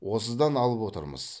осыдан алып отырмыз